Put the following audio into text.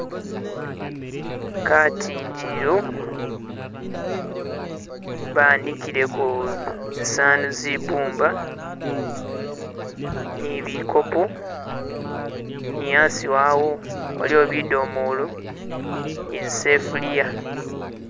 Katindililo banikileko zisanu zebumba nibikopo ni hasi wawo waliwo bidomolo ni zisefulia